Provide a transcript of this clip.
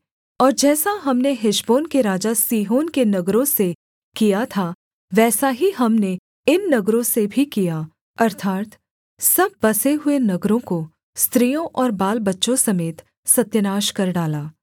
और जैसा हमने हेशबोन के राजा सीहोन के नगरों से किया था वैसा ही हमने इन नगरों से भी किया अर्थात् सब बसे हुए नगरों को स्त्रियों और बालबच्चों समेत सत्यानाश कर डाला